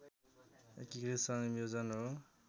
एकीकृत संयोजन हो